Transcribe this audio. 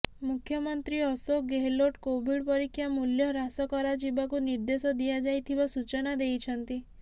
ମୁଖ୍ୟମନ୍ତ୍ରୀ ଅଶୋକ ଗେହଲୋଟ୍ କୋଭିଡ ପରୀକ୍ଷା ମୂଲ୍ୟ ହ୍ରାସ କରାଯିବାକୁ ନିର୍ଦେଶ ଦିଆଯାଇଥିବା ସୂଚନା ଦେଇଛନ୍ତି